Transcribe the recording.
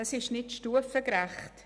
Es ist nicht stufengerecht.